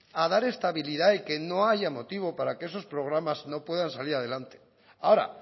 a dar estabilidad y que no haya motivo para que esos programas no puedan salir adelante ahora